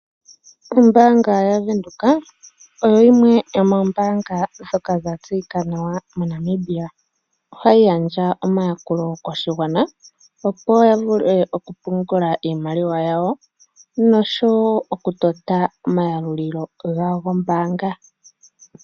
Ombaanga yaVenduka oyo yimwe yomoombaanga ndhoka dha tseyika nawa mOnamibia. Ohayi gandja omayakulo koshigwana opo ya vule oku pungula iimaliwa yawo nosho wo oku tota omayalulilo gawo gombaanga.